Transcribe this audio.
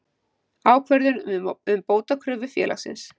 Ákvörðun um bótakröfu félagsins.